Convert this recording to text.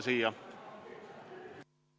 Istung on lõppenud.